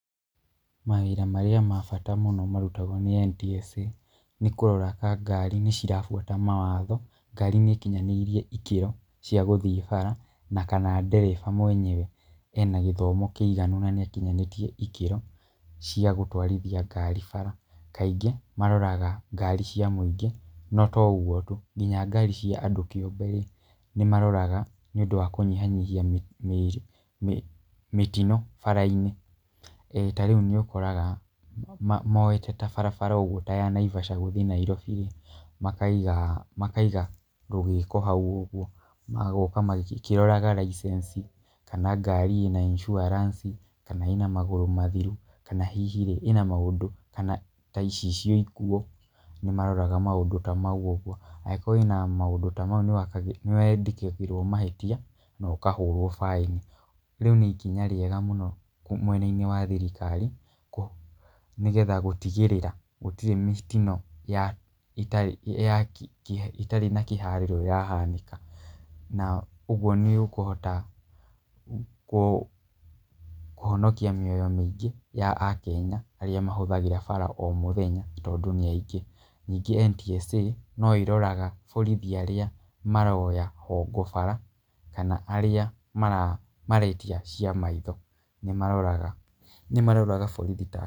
Mawĩra marĩa ma bata mũno marutagwo nĩ NTSA nĩ kũrora kana ngari nĩ cirabuata mawatho, ngari nĩ ikinyanĩirie ikĩro cia gũthiĩ bara na kana ndereba mwenyewe ena gĩthomo kĩiganu na nĩ akinyanĩtie ikĩro cia gũtwarithia ngari bara. Kaingĩ maroraga ngari cia mũingĩ no to ũguo tu nginya ngari cia andũ kĩũmbe rĩ, nĩ maroraga nĩ ũndũ wa kũnyihanyihia mĩ mĩ mĩtino bara-inĩ. Ta rĩu nĩ ũkoraga moete ta barabara ũguo ta ya Naivasha gũthiĩ Nairobi. Makaiga rũgĩko hau ũguo, magoka magĩkĩroraga licence, kana ngari ĩna insurance, kana ĩna magũrũ mathiru, kana hihi rĩ ĩna maũndũ kana ta icicio nguũ, nĩ maroraga maũndũ ta mau ũguo. Angĩkorwo ĩna maũndũ ta mau nĩ wandĩkagĩrwo mahĩtia na ũkahũrwo baĩni. Rĩu nĩ ikinya rĩega mũno mwena-inĩ wa thirikari nĩgetha gũtigĩrĩra gũtirĩ mĩtino ĩtarĩ na kĩharĩro ĩrahanĩka. Na ũguo nĩ ũkũhota kũhonokia mĩoyo mĩingĩ ya akenya arĩa mahũthagĩra bara o mũthenya tondũ nĩ aingĩ. Ningĩ NTSA no ĩroraga borithi arĩa maroya hongo bara, kana arĩa maretia cia maitho, nĩ maroraga. Nĩ mararaga borithi ta...